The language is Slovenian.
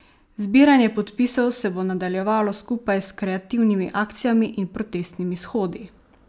Zbiranje podpisov se bo nadaljevalo skupaj s kreativnimi akcijami in protestnimi shodi.